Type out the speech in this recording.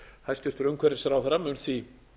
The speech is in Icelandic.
hæstvirtur umhverfisráðherra mun því